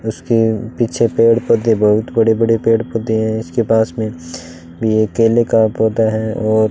उसके पीछे पेड़ पौधे बहुत बड़े बड़े पेड़ पौधे है इसके पास में ये केले का पौधा है और --